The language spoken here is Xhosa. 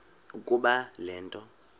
ukuba le nto